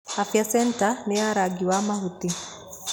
Afya centre nĩ ya rangi wa mahuti.